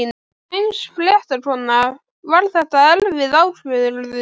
Sænsk fréttakona: Var þetta erfið ákvörðun?